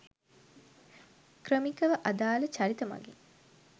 ක්‍රමිකව අදාල චරිත මගින්